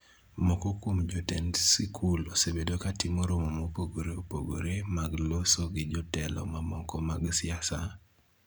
Moko kuom jotend sikul osebedo ka timo romo mopogore opogore mag loso gi jotelo mamoko mag siasa,